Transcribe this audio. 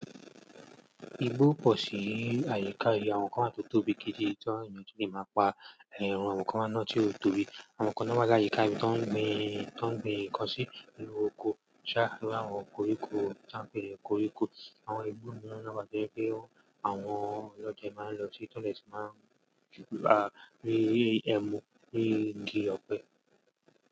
Igbó pọ̀ sí àyíká yii àwọn kan wa tó tóbi gidi, tí àwọn ènìyàn tún lè máa pa ẹran àwọn kan wa náà tí ó tóbi, àwọn kan náà wa máa layíká ibi tó ń gbin, tó ń gbin nnkan sí inú oko, sá á ró àwọn koríko tí wọ́n ń pè ní koríko. Àwọn ìgbó miiran náa wa to jẹ́ pé àwọn ọlọ́dẹ máa ń lọ sí, tó dè tun máa ń rí ẹ̀mú rí igi ọ̀pẹ.